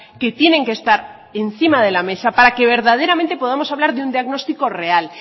que tienen que estar encima de la mesa para que verdaderamente podamos hablar de un diagnóstico real